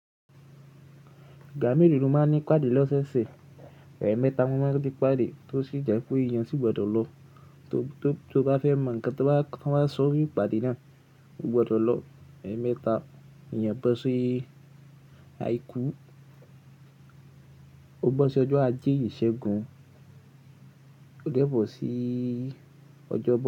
Igba melo lo máa ń ní ìpàdé lọ́sẹ̀ṣẹ̀. Ẹ̀ẹ̀mẹta mọ máa ń ni ìpàdé tó sì jẹ́ pé èèyàn sì gbọdọ̀ lọ. Tó bá fẹ́ mọ ǹkan tí wọ́n bá ń sọ ní ìpàdé náà, o gbọdọ̀ lọ ẹ̀ẹ́mẹta. Iyen bó ṣi aikú, ó bá ṣi ọjọ́ ajé yìí ṣẹ́gun, ó dẹ́bọ̀ sí ọjọ́